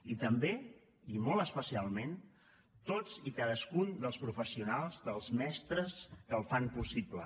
i també i molt especialment tots i cadascun dels professionals dels mestres que el fan possible